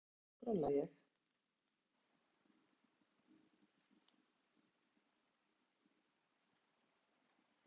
Ég spurði mömmu: Af hverju skrolla ég?